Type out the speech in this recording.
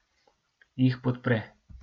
Jih podpre.